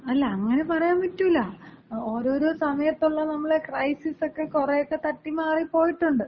അല്ല അങ്ങനെ പറയാമ്പറ്റൂല്ല. ഓരോരോ സമയത്തുള്ള നമ്മുടെ ക്രൈസിസക്കെ കുറെയൊക്കെ തട്ടി മാറി പോയിട്ടുണ്ട്.